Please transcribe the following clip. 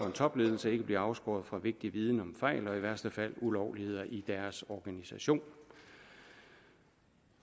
en topledelse ikke bliver afskåret fra vigtig viden om fejl og i værste fald ulovligheder i deres organisation